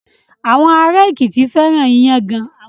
Àwọn ará Èkìtì fẹ́ràn iyán gan.